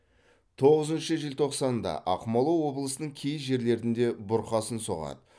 тоғызыншы желтоқсанда ақмола облысының кей жерлерінде бұрқасын соғады